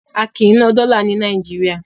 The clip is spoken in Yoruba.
A kìí ná dọ́là ní Nàìjíríà.